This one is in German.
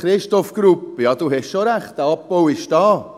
Christoph Grupp, ja, Sie haben schon Recht, der Abbau ist da.